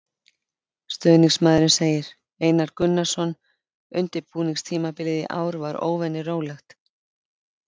Stuðningsmaðurinn segir- Einar Gunnarsson Undirbúningstímabilið í ár var óvenju rólegt.